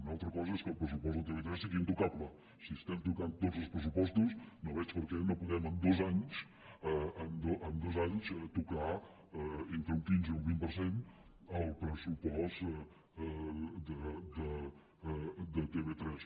una altra cosa és que el pressupost de tv3 sigui intocable si estem tocant tots els pressupostos no veig per què no podem en dos anys tocar entre un quinze i un vint per cent el pressupost de tv3